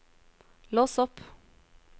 lås opp